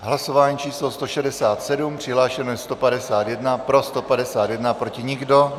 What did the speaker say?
Hlasování číslo 167, přihlášeno je 151, pro 151, proti nikdo.